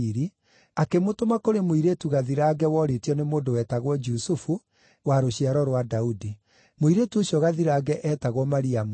akĩmũtũma kũrĩ mũirĩtu gathirange worĩtio nĩ mũndũ wetagwo Jusufu, wa rũciaro rwa Daudi. Mũirĩtu ũcio gathirange eetagwo Mariamu.